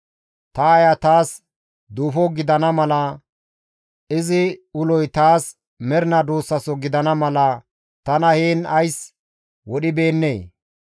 Ta aaya taas duufo gidana mala, izi uloy taas mernaa duussaso gidana mala tana heen ays wodhibeennee?